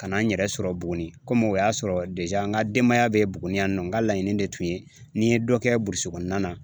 Ka na n yɛrɛ sɔrɔ Buguni o y'a sɔrɔ n ka denbaya bɛ Buguni yan nɔ n ka laɲini de tun ye ni n ye dɔ kɛ burusi kɔnɔna na